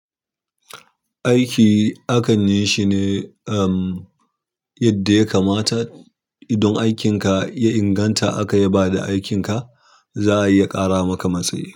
Aiki akan yi shi ne, um, yadda ya kamata. Idan aikin ka ya inganta aka yi ba da aikin ka, za a iya ƙara maka matsayi.